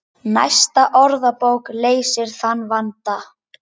Næsta orðabók leysir þann vanda.